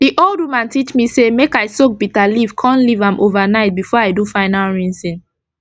d old woman teach me say make i soak bitter leaf kon leave am over night before i do final rinsing